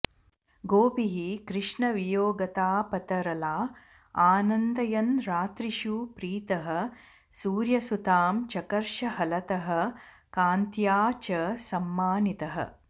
गोपीः कृष्णवियोगतापतरला आनन्दयन् रात्रिषु प्रीतः सूर्यसुतां चकर्ष हलतः कान्त्या च सम्मानितः